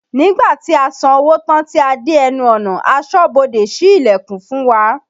Nígbà tí a san owó tán tí a dé ẹnu ọ̀nà, asọ́ bodè sí ìlẹ̀kùn fún wa